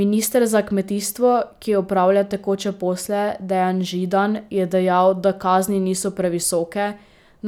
Minister za kmetijstvo, ki opravlja tekoče posle, Dejan Židan, je dejal, da kazni niso previsoke,